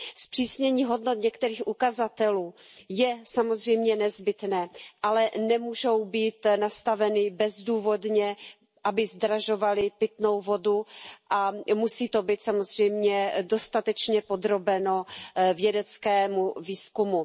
Zpřísnění hodnot některých ukazatelů je samozřejmě nezbytné, ale nemůžou být nastaveny bezdůvodně, aby zdražovaly pitnou vodu, a musí to být samozřejmě dostatečně podrobeno vědeckému výzkumu.